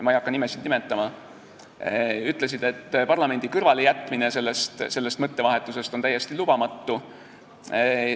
Ma ei hakka nimesid nimetama, aga nad ütlesid, et parlamendi kõrvalejätmine sellest mõttevahetusest on täiesti lubamatu.